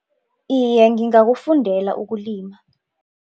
Iye, ngingakufundela ukulima.